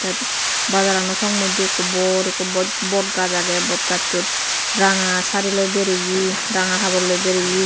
yet bazarano song moidde ekko bor ekko boj bod gaz age bod gazsot ranga sariloi beriye ranga haborloi beriye.